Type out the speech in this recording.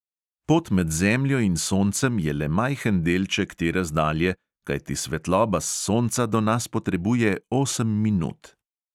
Pot med zemljo in soncem je le majhen delček te razdalje, kajti svetloba s sonca do nas potrebuje osem minut.